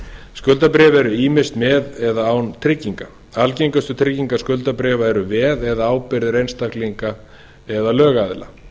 skuldabréf eru ýmist með eða án trygginga algengustu tryggingar skuldabréfa eru veð eða ábyrgðir einstaklinga eða lögaðila